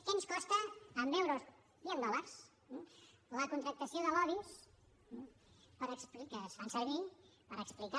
què ens costa en euros i en dòlars la contractació de lobbys que es fan servir per explicar